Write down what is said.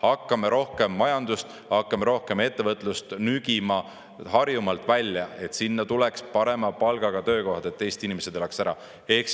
Hakkame rohkem majandust, hakkame rohkem ettevõtlust nügima Harjumaalt välja, et sinna tuleks parema palgaga töökohad, et Eesti inimesed elaksid ära!